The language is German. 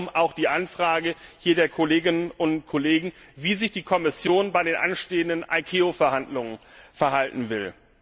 Darum auch die Anfrage der Kolleginnen und Kollegen, wie sich die Kommission bei den anstehenden ICAO Verhandlungen verhalten will.